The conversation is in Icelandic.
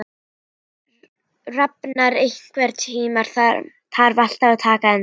Rafnar, einhvern tímann þarf allt að taka enda.